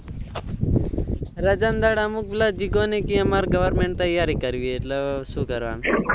રજા ના દહાડા અમુક જીગો ને કેહ અમે government ની તાય્યારી કરવી છે એટલે હેવે શું કરવાનું